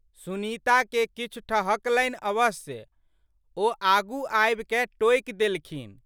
सुनीताके किछु ठहकलनि अवश्य। ओ आगू आबिकए टोकि देलखिन।